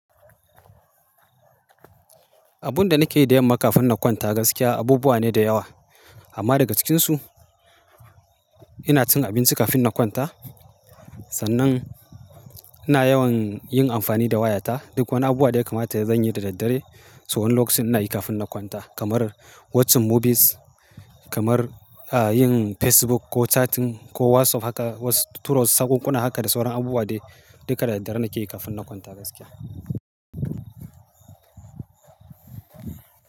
Abun da nake yi da yamma kafin na kwanta gaskiya abubuwa ne da yawa. Amma daga cikinsu ina cin abinci kafin na kwanta. Sannan ina yawan yin amfani da wayata. Duk wani abu da ya kamata ya zanyi da daddare. So ɗan lokacin ina yi kafin na kwanta kamar watching movies, kamar, ah, yin Facebook ko chatting ko WhatsApp haka wasu turo sakkun kuna haka da sauran abubuwa dai duka da dare nake yi kafin na kwanta gaskiya.